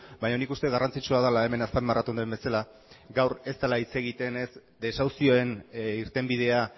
baina nik uste garrantzitsua dela hemen azpimarratu den bezala gaur ez dela hitz egiten ez desahuzioen irtenbidea